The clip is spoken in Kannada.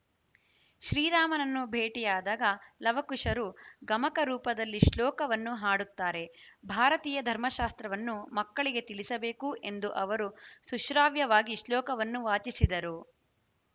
ಶ್ರೀರಾಮನನ್ನು ಭೇಟಿಯಾದಾಗ ಲವಕುಶರು ಗಮಕ ರೂಪದಲ್ಲಿ ಶ್ಲೋಕವನ್ನು ಹಾಡುತ್ತಾರೆ ಭಾರತೀಯ ಧರ್ಮಶಾಸ್ತ್ರವನ್ನು ಮಕ್ಕಳಿಗೆ ತಿಳಿಸಬೇಕು ಎಂದ ಅವರು ಸುಶ್ರಾವ್ಯವಾಗಿ ಶ್ಲೋಕವನ್ನು ವಾಚಿಸಿದರು